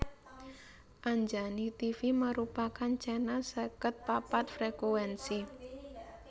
Anjani Tivi merupakan channel seket papat frekuensi